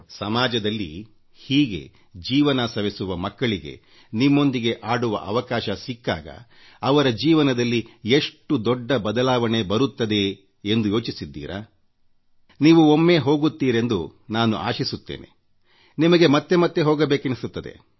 ಸಮಾಜದಲ್ಲಿ ಹೀಗೆ ಜೀವನ ಸವೆಸುವ ಮಕ್ಕಳಿಗೆ ನಿಮ್ಮೊಂದಿಗೆ ಆಡುವ ಅವಕಾಶ ಸಿಕ್ಕಾಗ ಅವರ ಜೀವನದಲ್ಲಿ ಎಷ್ಟು ದೊಡ್ಡ ಬದಲಾವಣೆ ಬರುತ್ತದೆ ಎಂದು ಯೋಚಿಸಿದ್ದೀರಾ ನೀವು ಒಮ್ಮೆ ಹೋಗುತ್ತೀರೆಂದು ನಾನು ಆಶಿಸುತ್ತೇನೆ ನಿಮಗೆ ಮತ್ತೆ ಮತ್ತೆ ಹೋಗಬೇಕೆನಿಸುತ್ತದೆ